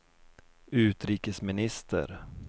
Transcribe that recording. utrikesminister